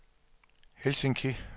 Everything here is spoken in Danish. Helsinki